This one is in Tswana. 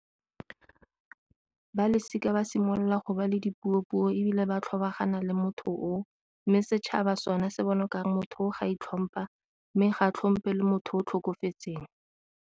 Ba losika ba simolola go ba le dipuo-puo ebile ba tlhobogana le motho o, mme setšhaba sone se bone kare motho o ga itlhompha mme ga tlhompe le motho o tlhokofetseng.